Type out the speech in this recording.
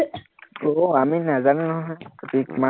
আহ আমি নাজানো নহয়, তুমি ইমা